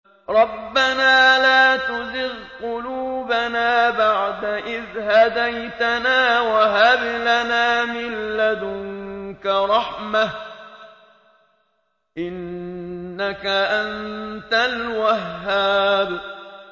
رَبَّنَا لَا تُزِغْ قُلُوبَنَا بَعْدَ إِذْ هَدَيْتَنَا وَهَبْ لَنَا مِن لَّدُنكَ رَحْمَةً ۚ إِنَّكَ أَنتَ الْوَهَّابُ